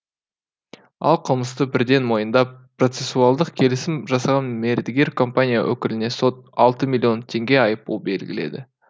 ал қылмысты бірден мойындап процессуалдық келісім жасаған мердігер компания өкіліне сот алты миллион теңге айыппұл белгіледі